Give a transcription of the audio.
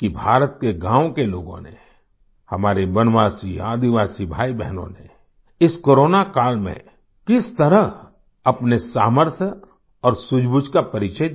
कि भारत के गाँव के लोगों ने हमारे वनवासीआदिवासी भाईबहनों ने इस कोरोना काल में किस तरह अपने सामर्थ्य और सूझबूझ का परिचय दिया